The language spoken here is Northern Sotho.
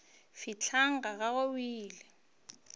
fihleng ga gagwe o ile